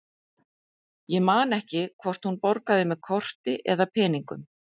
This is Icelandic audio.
Ég man ekki hvort hún borgaði með korti eða með peningum.